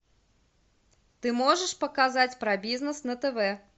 ты можешь показать про бизнес на тв